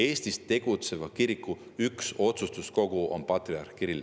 Eestis tegutseva kiriku üks otsustuskogu on patriarh Kirill.